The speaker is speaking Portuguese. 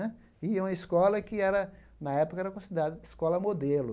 Né e é uma escola que era, na época, era considerada escola modelo.